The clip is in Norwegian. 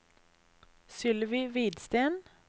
Sylvi Hvidsten